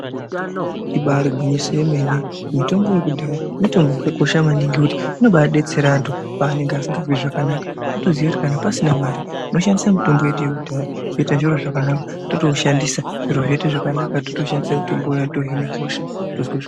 Ibari gwinyiso yemene mitombo yekudhaya inokosha maningi nekuti inombadetsera vantu pavanenge vasiri kuzwa zvakanaka. Kutoziya kuti kana pasina mari unoshandisa mitombo yedu yekudhaya zviro zvoita zvakanaka totoushandisa zviro zvoita zvakanaka totoshandisa mitombo iya.